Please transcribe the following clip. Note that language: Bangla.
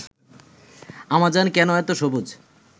আমাজন কেনো এতো সবুজ